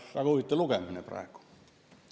Väga huvitav lugemine praegu.